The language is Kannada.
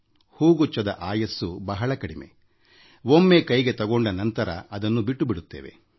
ಹೂಗುಚ್ಛದ ಆಯಸ್ಸು ಬಹಳ ಅಲ್ಪ ಒಮ್ಮೆ ಕೈಗೆ ತೆಗೆದುಗೊಂಡ ನಂತರ ಅದನ್ನ ಬಿಟ್ಟು ಬಿಡುತ್ತೇವೆ